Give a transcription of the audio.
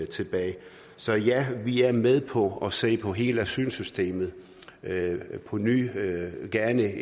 tilbage så ja vi er med på at se på hele asylsystemet på ny gerne